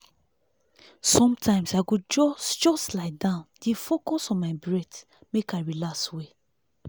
sometimes i go just just lie down dey focus on my breath make i relax well.